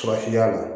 Farafinya la